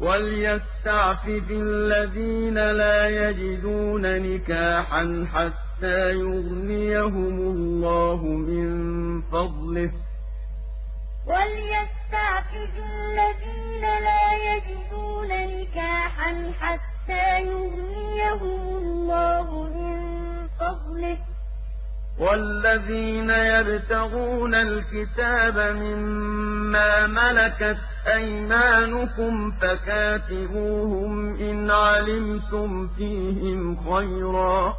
وَلْيَسْتَعْفِفِ الَّذِينَ لَا يَجِدُونَ نِكَاحًا حَتَّىٰ يُغْنِيَهُمُ اللَّهُ مِن فَضْلِهِ ۗ وَالَّذِينَ يَبْتَغُونَ الْكِتَابَ مِمَّا مَلَكَتْ أَيْمَانُكُمْ فَكَاتِبُوهُمْ إِنْ عَلِمْتُمْ فِيهِمْ خَيْرًا ۖ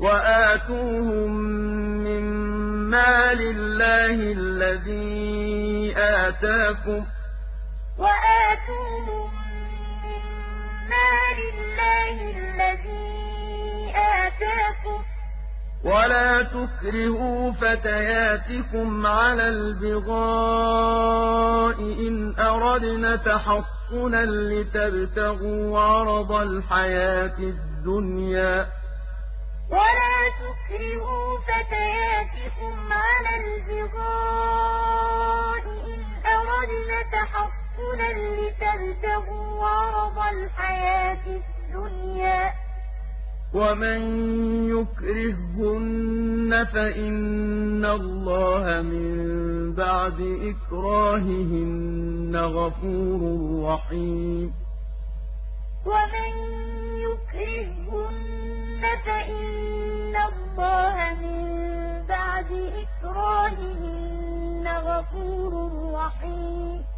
وَآتُوهُم مِّن مَّالِ اللَّهِ الَّذِي آتَاكُمْ ۚ وَلَا تُكْرِهُوا فَتَيَاتِكُمْ عَلَى الْبِغَاءِ إِنْ أَرَدْنَ تَحَصُّنًا لِّتَبْتَغُوا عَرَضَ الْحَيَاةِ الدُّنْيَا ۚ وَمَن يُكْرِههُّنَّ فَإِنَّ اللَّهَ مِن بَعْدِ إِكْرَاهِهِنَّ غَفُورٌ رَّحِيمٌ وَلْيَسْتَعْفِفِ الَّذِينَ لَا يَجِدُونَ نِكَاحًا حَتَّىٰ يُغْنِيَهُمُ اللَّهُ مِن فَضْلِهِ ۗ وَالَّذِينَ يَبْتَغُونَ الْكِتَابَ مِمَّا مَلَكَتْ أَيْمَانُكُمْ فَكَاتِبُوهُمْ إِنْ عَلِمْتُمْ فِيهِمْ خَيْرًا ۖ وَآتُوهُم مِّن مَّالِ اللَّهِ الَّذِي آتَاكُمْ ۚ وَلَا تُكْرِهُوا فَتَيَاتِكُمْ عَلَى الْبِغَاءِ إِنْ أَرَدْنَ تَحَصُّنًا لِّتَبْتَغُوا عَرَضَ الْحَيَاةِ الدُّنْيَا ۚ وَمَن يُكْرِههُّنَّ فَإِنَّ اللَّهَ مِن بَعْدِ إِكْرَاهِهِنَّ غَفُورٌ رَّحِيمٌ